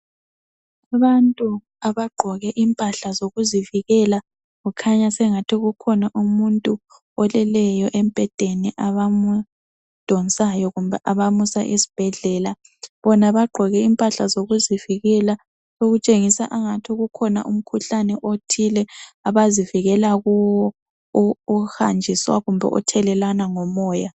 Abantu abagqoke impahla zokuzivikela kukhanya sengathi kukhona umuntu oleleyo embhedeni abamdonsayo kumbe abamusa esibhedlela, bona bagqoke impahla zokuzivikela okutshengisa angathi kukhona umkhuhlane othile abazivikela kuwo ohanjiswa kumbe othelelwana ngomoya.